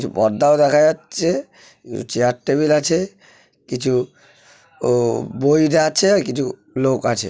কিছু পর্দাও দেখা যাচ্ছে চেয়ার টেবিল আছে কিছু উম বইরা আছে আর কিছু লোক আছে।